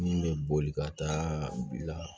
Min bɛ boli ka taa bila